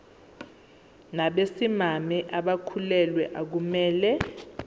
nabesimame abakhulelwe akumele